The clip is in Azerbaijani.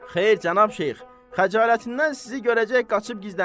Xeyr, Cənab Şeyx, xəcalətindən sizi görəcək qaçıb gizlənib.